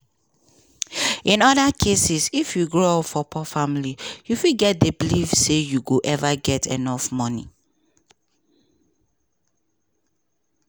in oda cases if you grow up for poor family you fit get di belief say you go ever get enough money.